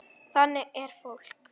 Þannig er fólk.